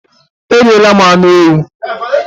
eriela m anu ewu